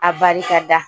A barika da